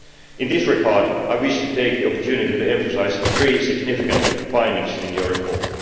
In this regard, I wish to take the opportunity to emphasise three significant findings in the report.